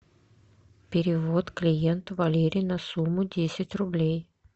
перевод клиенту валерий на сумму десять рублей